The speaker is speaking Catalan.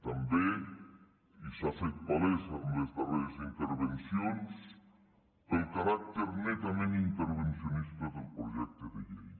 també i s’ha fet palès en les darreres intervencions pel caràcter netament intervencionista del projecte de llei